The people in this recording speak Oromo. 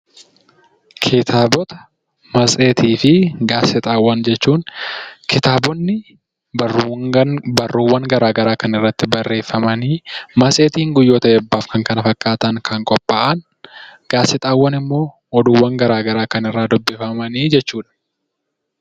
Kitaabota, matseetii fi gaazexaawwan yoo jennu, kitaabonni barruuwwan garaa garaa kan irratti barreeffaman, matseetiin guyyoota eebbaa fi kan kana fakkaataniif kan qophaa'an, gaazexaawwan immoo oduuwwan garaa garaa kan irraa dubbifaman jechuudha.